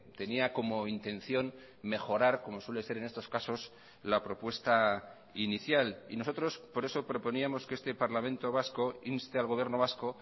tenía como intención mejorar como suele ser en estos casos la propuesta inicial y nosotros por eso proponíamos que este parlamento vasco inste al gobierno vasco